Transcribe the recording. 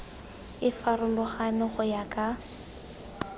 e farologane go ya ka